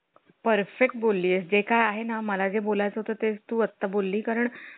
Perfect बोलली जे काय आहे ना? मला जे बोलाय चं होतं ते तू आता बोलली कारण